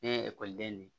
Ne ye ekɔliden de ye